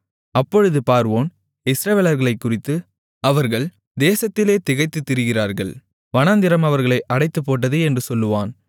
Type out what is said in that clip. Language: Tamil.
அப்பொழுது பார்வோன் இஸ்ரவேலர்களைக்குறித்து அவர்கள் தேசத்திலே திகைத்துத் திரிகிறார்கள் வனாந்திரம் அவர்களை அடைத்துப்போட்டது என்று சொல்லுவான்